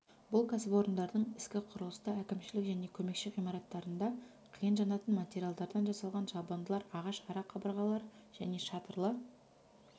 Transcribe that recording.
бұл кәсіпорындардың ескі құрылысты әкімшілік және көмекші ғимараттарында қиын жанатын материалдардан жасалған жабындылар ағаш ара қабырғалар және шатырлы